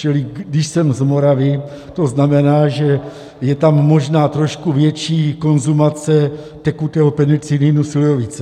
Čili když jsem z Moravy, to znamená, že je tam možná trošku větší konzumace tekutého penicilinu - slivovice.